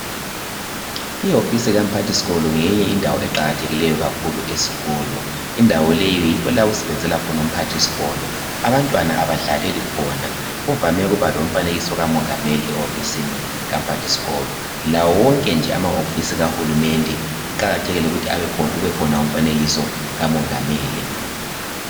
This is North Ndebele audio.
Iwofisi kamphathisikolo ngeyinye indawo eqakathekile kakhulu esikolo. Indawo leyi yikho lapho okusebenzela khona umphathisikolo. Abantwana abadlaleli khona kuvame ukuba lumfanekiso kamongameli ehofisini kamphathisikolo kanye lawo wonke amahofisi kahulumende kuqakathekile ukuthi kubekhona umfanekiso kamongameli.